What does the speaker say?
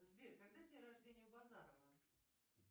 сбер когда день рождения у базарова